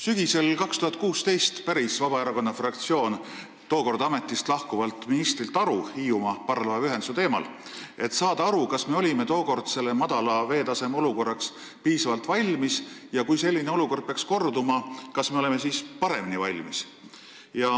Sügisel 2016 päris Vabaerakonna fraktsioon tookord ametist lahkuvalt ministrilt aru Hiiumaa parvlaevaühenduse teemal, et saada teada, kas me oleme madala veetaseme olukorraks piisavalt valmis, ja kui selline olukord peaks korduma, kas me siis oleme paremini valmis.